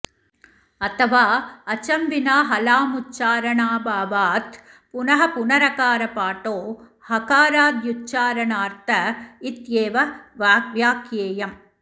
अथवा अचं विना हलामुच्चारणाऽभावात् पुनः पुनरकारपाठो हकाराद्युच्चारणार्थ इत्येव व्याख्येयम्